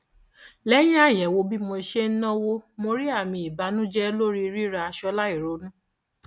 lẹyìn àyẹwò bí mo ṣe ń náwó mo rí àmì ìbànújẹ lórí rírà aṣọ láìronú